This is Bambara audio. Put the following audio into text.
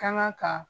Kanga kan